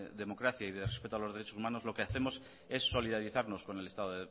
democracia y de respeto a los derechos humanos lo que hacemos es solidarizarnos con el estado